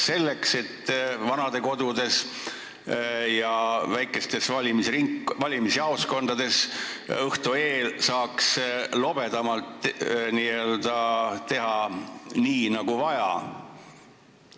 Kas selleks, et vanadekodudes ja väikestes valimisjaoskondades saaks õhtu eel lobedamalt n-ö teha nii nagu vaja?